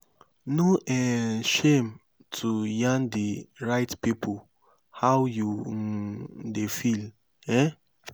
no um shame to yarn di right pipo how you um dey feel um